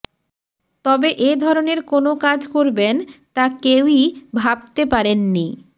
তবে এ ধরনের কোনও কাজ করবেন তা কেউই ভাবতে পারেননি